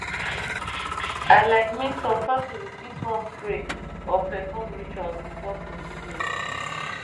i like mean some families fit wan pray or perform rituals before procedures